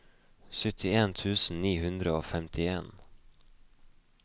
syttien tusen ni hundre og femtien